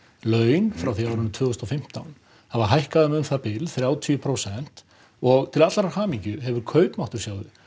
laun frá því árið tvö þúsund og fimmtán hafa hækkað um um það bil þrjátíu prósent og til allrar hamingju hefur kaupmáttur